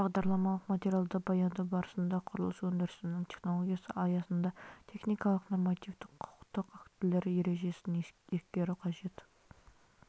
бағдарламалық материалды баяндау барысында құрылыс өндірісінің технологиясы аясында техникалық нормативтік құқықтық актілер ережесін ескеру қажет